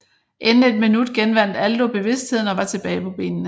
Inden et minut genvandt Aldo bevidstheden og var tilbage på benene